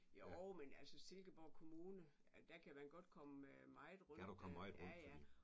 Jo men altså Silkeborg kommune der kan man godt komme meget rundt der ja ja